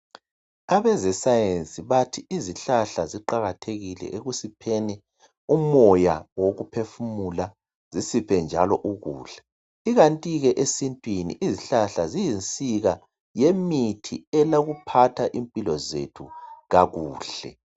Abezescience bathi izihlahla ziqakathekile ekusipheni umoya wokuphefumula zisiphe njalo ukudla. Ikanti ke esintwini izihlahla ziyinsika yemithi elokuphatha impilo zethu kakuhle